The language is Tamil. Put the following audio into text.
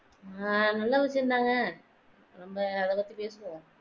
ஆஹ் நல்ல விஷயம் தாங்க நம்ம அத பத்தி பேசுவோம்